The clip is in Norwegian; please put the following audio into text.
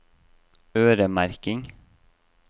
øremerking